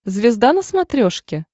звезда на смотрешке